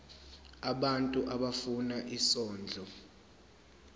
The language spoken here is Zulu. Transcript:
abantu abafuna isondlo